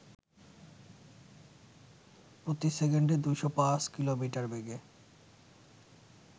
প্রতি সেকেন্ড ২০৫ কিমি বেগে